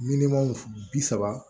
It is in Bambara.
Miliyɔn bi saba